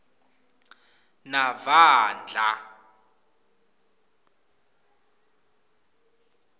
navandla